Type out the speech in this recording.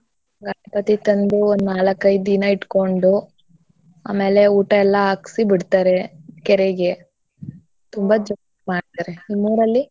ಗಣಪತಿ ತಂದು ಒಂದ್ ನಾಲಕೈದ್ ದಿನ ಇಟ್ಕೊಂಡು ಆಮೇಲೆ ಊಟ ಎಲ್ಲ ಹಾಕ್ಸಿ ಬಿಡ್ತಾರೆ ಕೆರೆಗೆ ತುಂಬ ಜೋರಾಗಿ ಮಾಡ್ತಾರೆ. ನಿಮ್ಮ್ ಊರಲ್ಲಿ?